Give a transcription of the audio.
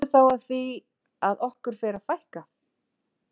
En kemur þá að því að okkur fer að fækka?